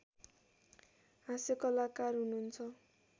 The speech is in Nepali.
हास्यकलाकार हुनुहुन्छ